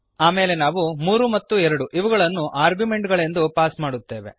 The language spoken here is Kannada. ಆಮೇಲೆ ನಾವು 3 ಮತ್ತು 2ಇವುಗಳನ್ನು ಆರ್ಗ್ಯುಮೆಂಟ್ ಗಳೆಂದು ಪಾಸ್ ಮಾಡುತ್ತೇವೆ